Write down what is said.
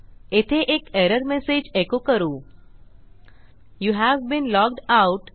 येथे एक error message echo करू यूव्ह बीन लॉग्ड आउट